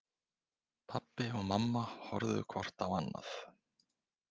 Pabbi og mamma horfðu hvort á annað.